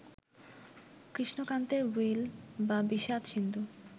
কৃষ্ণকান্তের will বা বিষাদ-সিন্ধু